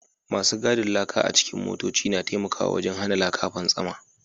Masu gadin laka a cikin motoci na taimakawa wajen hana laka fantsama